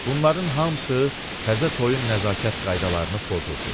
Bunların hamısı təzə toyun nəzakət qaydalarını pozurdu.